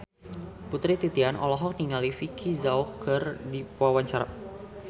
Putri Titian olohok ningali Vicki Zao keur diwawancara